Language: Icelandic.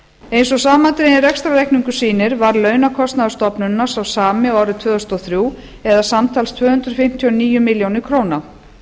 eins og samandreginn rekstrarreikningur sýnir varð launakostnaður stofnunarinnar sá sami og árið tvö þúsund og þrjú eða samtals tvö hundruð fimmtíu og níu milljónir króna